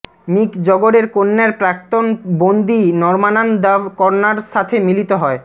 মিক জগরের কন্যার প্রাক্তন বন্দী নর্মানান দ্য কর্নার সাথে মিলিত হয়